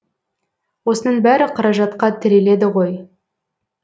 осының бәрі қаражатқа тіреледі ғой